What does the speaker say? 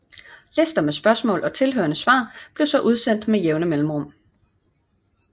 Lister med spørgsmål og tilhørende svar blev så udsendt med jævne mellemrum